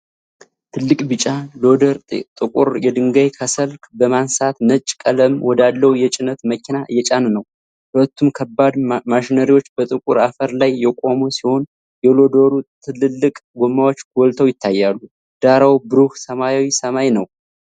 ትልቅ ቢጫ ሎደር ጥቁር የድንጋይ ከሰል በማንሳት ነጭ ቀለም ወዳለው የጭነት መኪና እየጫነ ነው። ሁለቱም ከባድ ማሽነሪዎች በጥቁር አፈር ላይ የቆሙ ሲሆን፣ የሎደሩ ትልልቅ ጎማዎች ጎልተው ይታያሉ። ዳራው ብሩህ ሰማያዊ ሰማይ ነው።